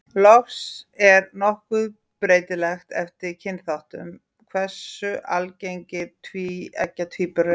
Loks er nokkuð breytilegt eftir kynþáttum hversu algengir tvíeggja tvíburar eru.